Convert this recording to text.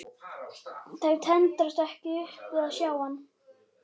Þær tendrast ekki upp við að sjá hann.